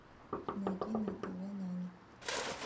найди на тв нано